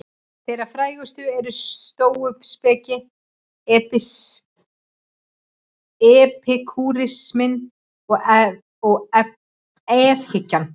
Þeirra frægastar eru stóuspekin, epikúrisminn og efahyggjan.